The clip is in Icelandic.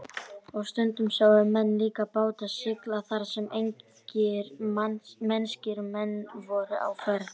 Og stundum sáu menn líka báta sigla þar sem engir mennskir menn voru á ferð.